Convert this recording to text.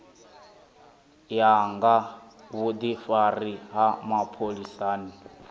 ya nga vhudifari ha mapholisani